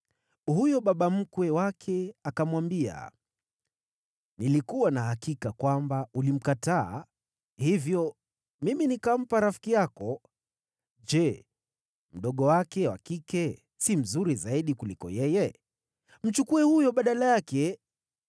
Huyo baba mkwe wake akamwambia, “Nilikuwa na hakika kwamba ulimkataa, hivyo mimi nikampa rafiki yako. Je, mdogo wake wa kike si mzuri zaidi kuliko yeye? Mchukue huyo badala yake.”